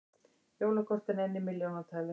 Jólakortin enn í milljónatali